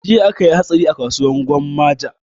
Jiya akayi hatsari a kasuwar gwammaja